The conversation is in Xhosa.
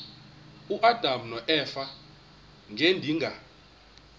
uadam noeva ngedinga